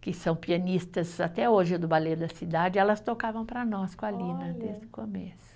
que são pianistas até hoje do Balé da Cidade, elas tocavam para nós com a Lina desde o começo.